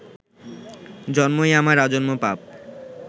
জন্মই আমার আজন্ম পাপ